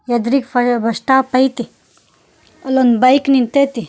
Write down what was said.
ಎದ್ರುಗ್ bus stop ಐತಿ ಅಲ್ಲೊಂದು bike ನಿಂತೈತಿ.